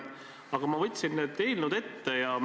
Aga ma võtsin need eelnõud ette.